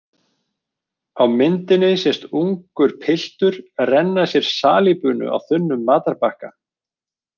Á myndinni sést ungur piltur renna sér salíbunu á þunnum matarbakka.